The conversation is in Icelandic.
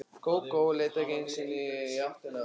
Kókó leit ekki einu sinni í áttina að mér.